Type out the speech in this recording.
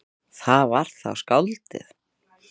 Það var þá skáldið.